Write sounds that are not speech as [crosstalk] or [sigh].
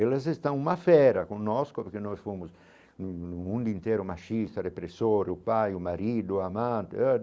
Elas estão uma fera com nós porque nós fomos num um mundo inteiro machista, repressor, o pai, o marido, o amante. [unintelligible]